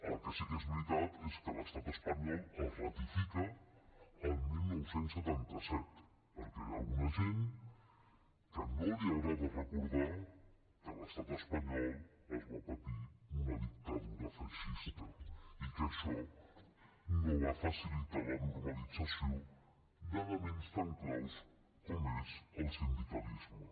el que sí que és veritat és que l’estat espanyol el ratifica el dinou setanta set perquè hi ha alguna gent que no li agrada recordar que a l’estat espanyol es va patir una dictadura feixista i que això no va facilitar la normalització d’elements tan claus com és el sindicalisme